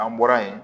An bɔra yen